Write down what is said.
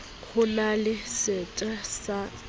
ho na le sete ya